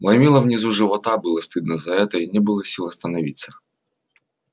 ломило внизу живота было стыдно за это и не было сил остановиться